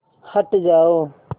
हट जाओ